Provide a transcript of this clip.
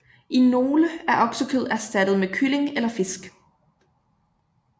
I nogle er oksekød erstattet med kylling eller fisk